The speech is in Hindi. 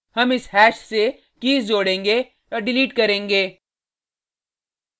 हम इस हैश से कीज़ जोड़ेंगे डिलीट करेंगे